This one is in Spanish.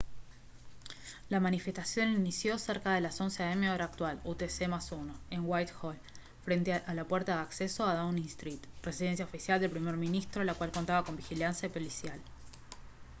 la manifestación inició cerca de las 11:00 hora local utc +1 en whitehall frente a la puerta de acceso a downing street residencia oficial del primer ministro la cual contaba con vigilancia policial